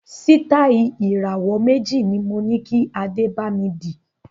Sitai Ìràwọ́ méjì ni moní kí Adé bami dì